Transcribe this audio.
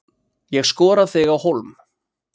Ég skora þig á hólm.